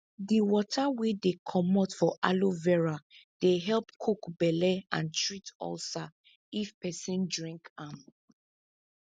di water wey dey comot for aloe vera dey help cook belle and treat ulcer if person drink am